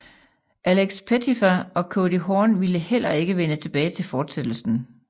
Alex Pettyfer og Cody Horn ville heller ikke vende tilbage til fortsættelsen